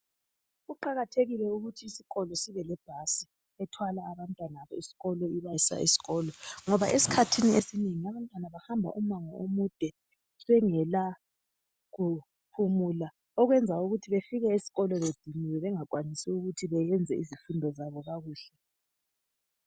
Kuqakathekile ukuthi isikolo sibe lebhasi ethwala abantwana besikolo ibasa esikolo ngoba esikhathini esinengi abantwana bahamba umango omude bengelakuphumula okwenza ukuthi befike esikolo bediniwe bengakwanisi ukuthi beyenze izifundo zabo kakuhle.